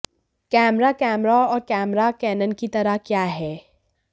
camera camera और camera Canon की तरह क्या है